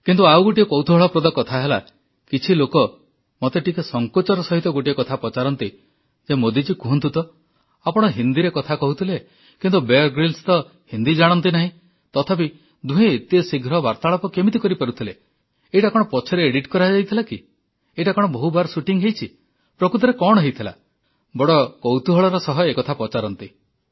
କିନ୍ତୁ ଆଉ ଗୋଟିଏ କୌତୁହଳପ୍ରଦ କଥା ହେଲା କିଛି ଲୋକ ମତେ ଟିକେ ସଂକୋଚର ସହିତ ଗୋଟିଏ କଥା ପଚାରନ୍ତି ଯେ ମୋଦିଜୀ କୁହନ୍ତୁ ତ ଆପଣ ହିନ୍ଦୀରେ କଥା କହୁଥିଲେ କିନ୍ତୁ ବିୟର ଗ୍ରିଲ୍ସ ତ ହିନ୍ଦୀ ଜାଣନ୍ତି ନାହିଁ ତଥାପି ଦୁହେଁ ଏତେଶୀଘ୍ର ବାର୍ତ୍ତାଳାପ କେମିତି କରିପାରୁଥିଲେ ଏଇଟା କଣ ପଛରେ ଏଡିଟ୍ କରାହୋଇଥିଲା କି ଏଇଟା କଣ ବହୁବାର ସୁଟିଂ ହେଇଛି ପ୍ରକୃତରେ କଣ ହୋଇଥିଲା ବଡ଼ କୌତୁହଳର ସହ ଏକଥା ପଚାରନ୍ତି